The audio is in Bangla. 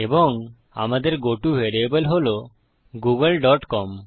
এবং আমাদের গত ভ্যারিয়েবল হল গুগল ডট কম